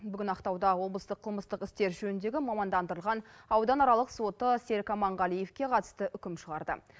бүгін ақтауда облыстық қылмыстық істер жөніндегі мамандандырылған ауданаралық соты серік аманғалиевке қатысты үкім шығарды